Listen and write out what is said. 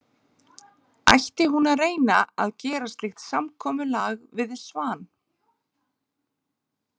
Ætti hún að reyna að gera slíkt samkomulag við Svan?